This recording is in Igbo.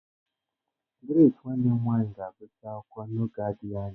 Grace nwanne m nwanyị ga-agụsị akwụkwọ n'oge adịghị anya.